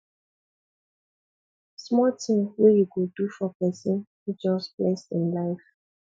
small tin wey you go do for pesin fit just bless im life